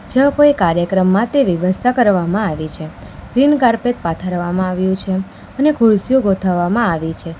જો કોઈ કાર્યક્રમ માટે વ્યવસ્થા કરવામાં આવે છે. ગ્રીન કાર્પેટ પાથરવામાં આવ્યું છે અને ખુરસીઓ ગોઠવવામાં આવી છે.